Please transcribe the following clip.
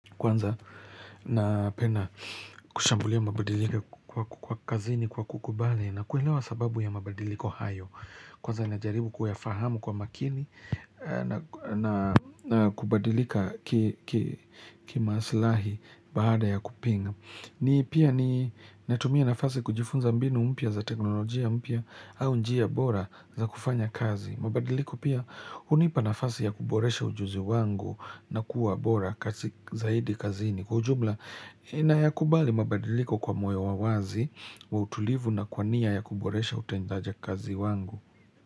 Kwanza napenda kushambulia mabadiliko kwa kazini kwa kukubali na kuelewa sababu ya mabadiliko hayo Kwanza najaribu kuyafahamu kwa makini na kubadilika kimasilahi baada ya kupinga ni pia ni natumia nafasi kujifunza mbinu mpya za teknolojia mpya au njia bora za kufanya kazi mabadiliko pia unipa nafasi ya kuboresha ujuzi wangu na kuwa bora kazi zaidi kazini. Kwa ujumla ninayakubali mabadiliko kwa moyo wa wazi wa utulivu na kwa nia ya kuboresha utendaje kazi wangu.